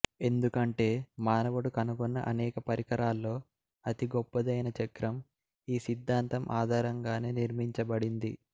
ఎందుకంటే మానవుడు కనుగొన్న అనేక పరికరాల్లో అతి గొప్పదైన చక్రం ఈ సిద్ధాంతం ఆధారంగానే నిర్మించబడింది